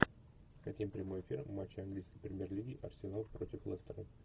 хотим прямой эфир матча английской премьер лиги арсенал против лестера